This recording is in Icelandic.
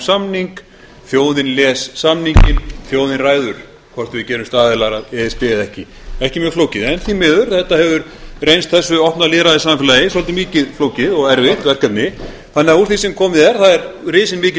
samning þjóðin les samninginn þjóðin ræður hvort við gerumst aðilar að e s b eða ekki ekki mjög flókið en því miður hefur þetta reynst þessu opna lýðræðissamfélagi svolítið mikið flókið og erfitt verkefni þannig að úr því sem komið er er risin mikil